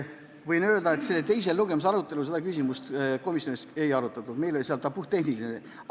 Võin öelda, et teise lugemise arutelul seda küsimust komisjonis ei arutatud, meil olid seal puhttehnilised asjad.